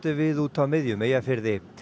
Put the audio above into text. við úti á miðjum Eyjafirði